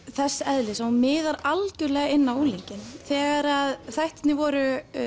þess eðlis að hún miðar algjörlega inn á unglinginn þegar þættirnir voru